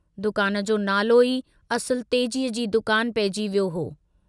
दुकान जो नालो ई असुल तेजीअ जी दुकान पइजी वियो हो।